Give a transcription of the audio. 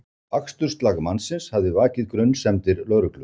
Aksturslag mannsins hafði vakið grunsemdir lögreglu